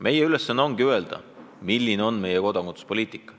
Meie ülesanne ongi otsustada, milline on meie kodakondsuspoliitika.